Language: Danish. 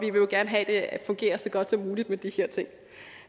jo gerne have at det fungerer så godt som muligt med de her ting